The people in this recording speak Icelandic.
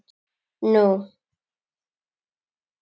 Nú?